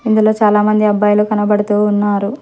ఇందులో చాలామంది అబ్బాయిలు కనబడుతూ ఉన్నారు.